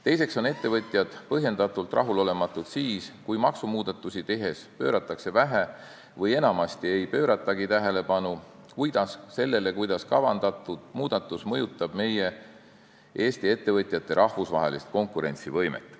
Teiseks on ettevõtjad põhjendatult rahulolematud siis, kui maksumuudatusi tehes pööratakse vähe või enamasti ei pööratagi tähelepanu sellele, kuidas kavandatud muudatus mõjutab Eesti ettevõtete rahvusvahelist konkurentsivõimet.